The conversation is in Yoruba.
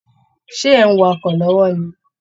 Ṣé ẹ̀ ń wàkọ lọ́wọ́ ni?